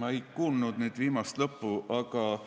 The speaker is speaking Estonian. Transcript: Ma ei kuulnud nüüd lõppu, aga